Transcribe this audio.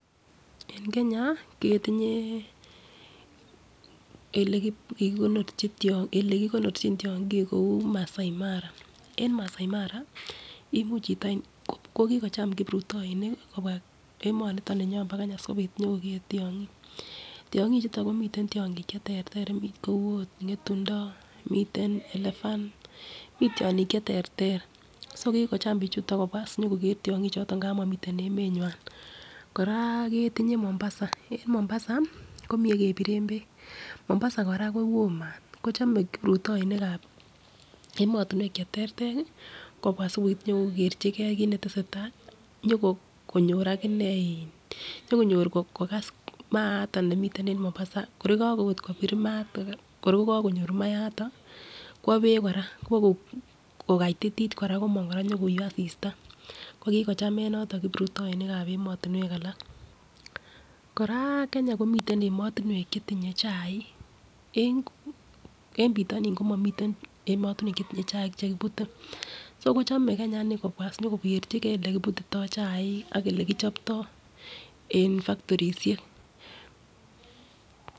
En Kenya ketinyee elekikonorchi olekikonorchin tyongik kou Masai Mara, en Masai Mara imuch chito ko kokocham kiprutoinik kobwa emoniton ninyon bo Kenya sikopit nyokokee tyongik, tyongik chuton komiten tyongik cheterter mii kou ot ngetundo miten elephant mii tyongik cheterter so kimocham bichuton kobwa sinyokoger tyongik choton ngap momiten emenywan. Koraa ketinye Mombasa en Mombasa komii yekepiren beek Mombasa koraa kowoo maat kochome kiprutoinikab emotunwek cheterter kobwa sipit nyokokee kit netesetai nyokonyor akinee nyokonyor kokas maataon nemiten em Mombasa kor ko Kako ot kopir maton kor kokokonyor maton kwo beek koraa kwokokaitit koraa komong koraa nyokou asista, kokochamen yoton kiprutoinikab emotunwek alak. Koraa ko Kenya komiten emotunwek chetinye chaik en pitoni komoniten emotunwek chetinye chaik chekiputen so kochome Kenya nii kobwa sinyo kokerchigee lekiputito ak elekichopyo en factorishek.